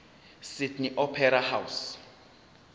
sydney opera house